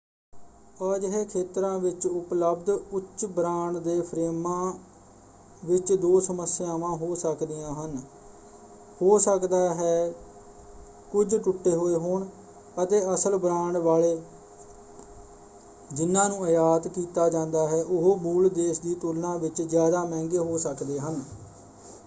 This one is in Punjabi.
ਅਜਿਹੇ ਖੇਤਰਾਂ ਵਿੱਚ ਉਪਲਬਧ ਉੱਚ ਬ੍ਰਾਂਡ ਦੇ ਫਰੇਮਾਂ ਵਿੱਚ ਦੋ ਸਮੱਸਿਆਵਾਂ ਹੋ ਸਕਦੀਆਂ ਹਨ; ਹੋ ਸਕਦਾ ਹੈ ਕੁਝ ਟੁੱਟੇ ਹੋਏ ਹੋਣ ਅਤੇ ਅਸਲ ਬ੍ਰਾਂਡ ਵਾਲੇ ਜਿਨ੍ਹਾਂ ਨੂੰ ਆਯਾਤ ਕੀਤਾ ਜਾਂਦਾ ਹੈ ਉਹ ਮੂਲ ਦੇਸ਼ ਦੀ ਤੁਲਨਾ ਵਿੱਚ ਜ਼ਿਆਦਾ ਮਹਿੰਗੇ ਹੋ ਸਕਦੇ ਹਨ।